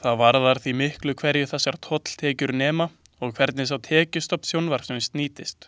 Það varðar því miklu hverju þessar tolltekjur nema og hvernig sá tekjustofn sjónvarpsins nýtist.